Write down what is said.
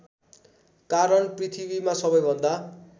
कारण पृथ्वीमा सबैभन्दा